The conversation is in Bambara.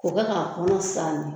O bɛ' kɔnɔ san ye